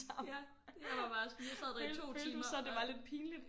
Ja jeg var bare sådan jeg sad der i 2 timer og